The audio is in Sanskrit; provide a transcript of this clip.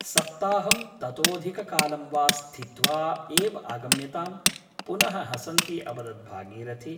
सप्ताहं ततोऽधिककालं वा स्थित्वा एव आगम्यताम् पुनः हसन्ती अवदत् भागीरथी ।